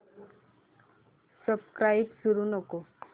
subscribe करू नको